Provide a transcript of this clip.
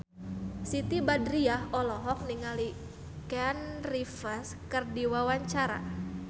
Siti Badriah olohok ningali Keanu Reeves keur diwawancara